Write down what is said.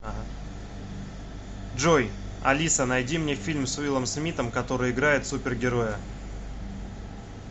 джой алиса найди мне фильм с уиллом смиттом который играет супер героя